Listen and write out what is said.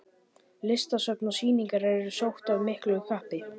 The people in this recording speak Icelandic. Listasöfn og sýningar eru sótt af miklu kappi.